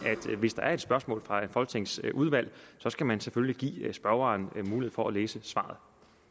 at hvis der er et spørgsmål fra folketingets udvalg skal man selvfølgelig give spørgeren mulighed for at læse svaret